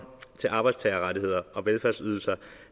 til arbejdstagerrettigheder og velfærdsydelser